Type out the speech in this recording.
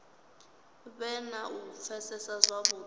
vhe na u pfesesa zwavhudi